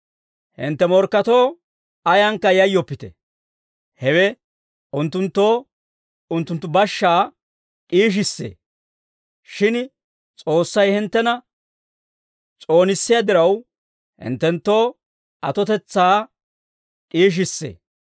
Hintte morkketoo ayankka yayyoppite; hewe unttunttoo unttunttu bashaa d'iishissee; shin S'oossay hinttena s'oonissiyaa diraw, hinttenttoo atotetsaa d'iishissee.